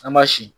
An ma sin